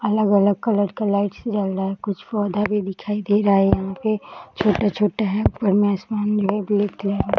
अलग-अलग कलर के लाइट्स जल रहे हैं। कुछ पौधे भी दिखाई दे रहे हैं यहाँ पे। छोटे-छोटे हैं। ऊपर में आसमान में --